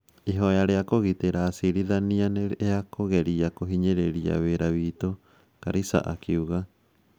ĩhoya rĩa kũgitĩra acirithania nĩ rĩa kũgeria kũhinyĩrĩria wĩra witũ ", Karisa akiuga